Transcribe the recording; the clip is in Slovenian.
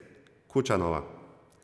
Kučanova...